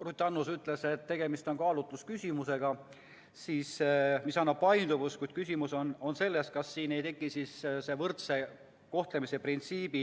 Ruth Annuse sõnul on tegemist kaalutlusküsimusega, mis võimaldab paindlikkust, kuid küsimus on selles, kas siin ei tekita poleemikat võrdse kohtlemise printsiip.